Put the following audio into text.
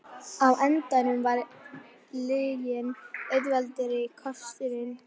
Á endanum var lygin auðveldari kosturinn.